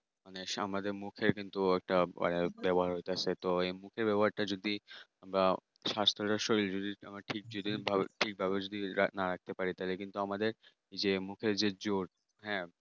সমাজের মুখে কিন্তু একটা আহ ব্যবহার হতো সেটা এই মুখের ব্যবহার টা যদি আহ স্বাস্থ্য শরীর যদি ঠিক ভাবে যদি না রাখতে পারি তাহলে কিন্তু এ আমাদের যে মুখের যে জোর হ্যাঁ